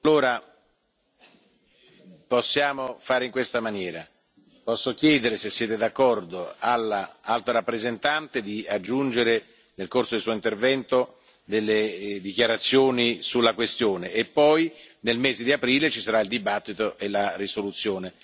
Allora possiamo fare in questa maniera posso chiedere, se siete d'accordo, all'Alto rappresentante, di aggiungere, nel corso del suo intervento, delle dichiarazioni sulla questione e poi, nel mese di aprile, ci sarà il dibattito e la risoluzione.